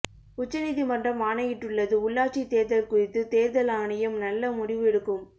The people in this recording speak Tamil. உச்ச நீதிமன்றம் ஆணையிட்டுள்ளது உள்ளாட்சி தேர்தல் குறித்து தேர்தல் ஆணையம் நல்ல முடிவு எடுக்கும்